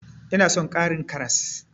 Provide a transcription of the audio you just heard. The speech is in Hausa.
Ina son ƙarin karas.